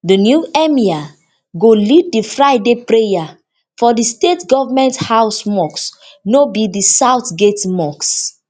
di new emir go lead di friday prayer for di state government house mosque no be di south gate mosque